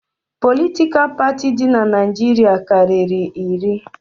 Politikal parti di n'Naijiria karịrị iri